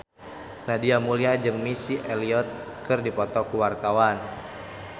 Nadia Mulya jeung Missy Elliott keur dipoto ku wartawan